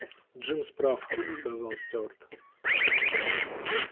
джимс прав сказал стюарт